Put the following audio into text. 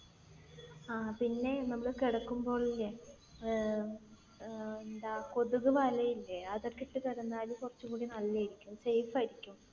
ആഹ് പിന്നെ, നമ്മൾ കിടക്കുമ്പോഴില്ലേ ഏർ ഏർ എന്താ കൊതുക്‌ വല ഇല്ലേ അതൊക്കെ ഇട്ട് കിടന്നാൽ കുറച്ചും കൂടെ നല്ലതായിരിക്കും. safe ആയിരിക്കും.